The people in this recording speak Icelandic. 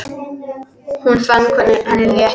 Hún fann hvernig henni létti.